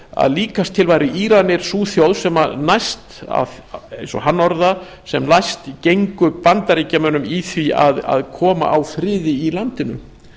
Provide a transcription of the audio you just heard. að líkast til væru íranir sú þjóð sem næst gengi eins og hann orðaði það bandaríkjunum í því að koma á friði í landinu